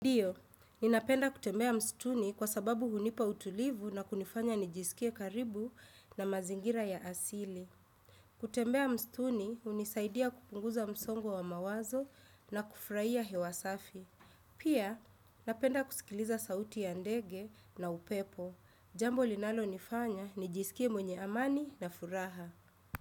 Ndiyo, ninapenda kutembea mstuni kwa sababu hunipa utulivu na kunifanya nijisikie karibu na mazingira ya asili. Kutembea mstuni, unisaidia kupunguza msongo wa mawazo na kufraia hewasafi. Pia, napenda kusikiliza sauti ya ndege na upepo. Jambo linalo nifanya, nijisikie mwenye amani na furaha.